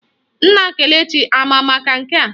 Nna Kelechi ama maka nke a?